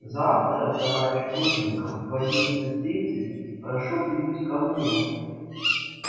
завтра товарищ плужников в одиннадцать тридцать прошу прибыть ко мне